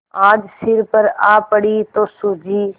आज सिर पर आ पड़ी तो सूझी